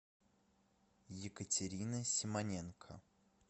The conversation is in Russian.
екатерина симоненко